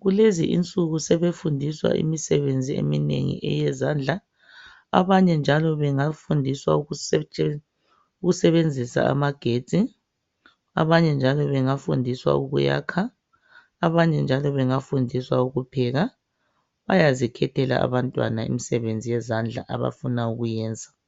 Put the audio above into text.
kulezi insuku sebefundiswa imisebenzi eminengi yezandla, abanye bangafundiswa ukusebenzisa amagetsi, abanye bafundiswe ukuyakha abanye njalo bafundiswe ukupheka. Bayazikhethela abantwana imisebenzi abafuna ukuyenza.